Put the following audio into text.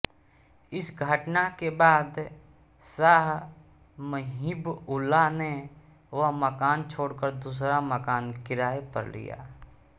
इस घटना के बाद शाह मुहिबउल्लाह ने वह मकान छोड़कर दूसरा मकान किराये पर लिया